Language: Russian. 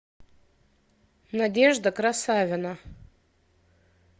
надежда красавина